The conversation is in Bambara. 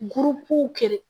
kɛlɛ